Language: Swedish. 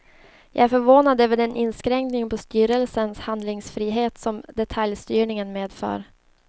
Jag är förvånad över den inskränkning på styrelsens handlingsfrihet som detaljstyrningen medför.